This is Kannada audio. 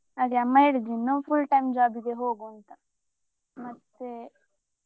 ಅದೇ ಅಮ್ಮ ಹೇಳ್ತಿದ್ರು ಇನ್ನು full time job ಇಗೆ ಹೋಗುಂತಾ ಮತ್ತೆ.